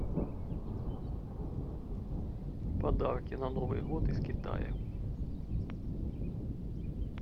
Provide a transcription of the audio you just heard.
подарки на новый год из китая